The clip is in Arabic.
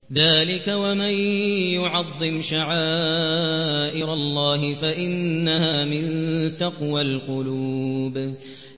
ذَٰلِكَ وَمَن يُعَظِّمْ شَعَائِرَ اللَّهِ فَإِنَّهَا مِن تَقْوَى الْقُلُوبِ